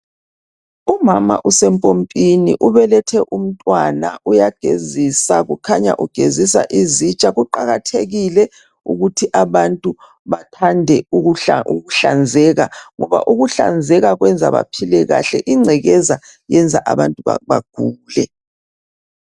Umama usempompini ubelethe umntwana uyagezisa kukhanya ugezisa izitsha kuqakathekile ukuthi baantu bathande ukuhlanzeka ngoba ukuhlanzeka kwenza baphile kahle ingcekeza yenza abantu bagule.